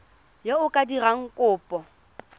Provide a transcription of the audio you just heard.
yo o ka dirang kopo